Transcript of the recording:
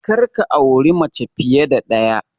Kar ka auri mace fiye da ɗaya!